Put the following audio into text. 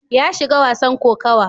Ya shiga wasan kokawa.